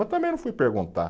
Mas também não fui perguntar.